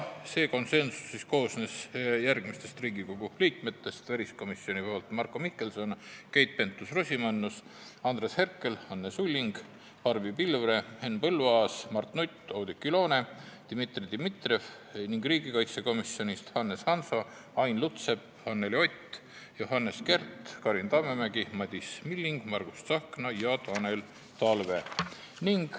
Konsensust väljendasid järgmised Riigikogu liikmed: väliskomisjonist Marko Mihkelson, Keit Pentus-Rosimannus, Andres Herkel, Anne Sulling, Barbi Pilvre, Henn Põlluaas, Mart Nutt, Oudekki Loone ja Dmitri Dmitrijev ning riigikaitsekomisjonist Hannes Hanso, Ain Lutsepp, Anneli Ott, Johannes Kert, Karin Tammemägi, Madis Milling, Margus Tsahkna ja Tanel Talve.